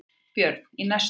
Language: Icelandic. Björn: Í næstu viku?